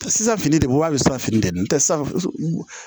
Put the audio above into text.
Sisan fini de don wa halisa fini tɛ ntɛ san